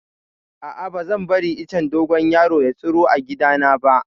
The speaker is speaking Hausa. A'a, ba zan bari icen dogon yaro ya tsiro a gidana ba.